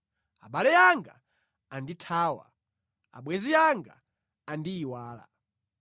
Abale anga andithawa; abwenzi anga andiyiwala.